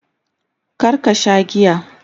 kar ka Sha giya!